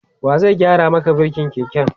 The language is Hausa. wa zai gyara Maka birkin keken?